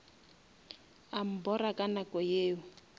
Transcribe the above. a mbora ka nako yeo